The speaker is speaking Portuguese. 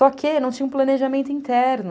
Só que não tinha um planejamento interno.